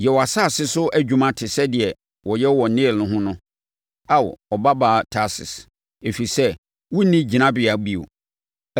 Yɛ wʼasase so adwuma te sɛ deɛ wɔyɛ wɔ Nil ho no Ao Ɔbabaa Tarsis, ɛfiri sɛ wonni hyɛngyinabea bio.